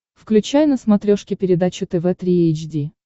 включай на смотрешке передачу тв три эйч ди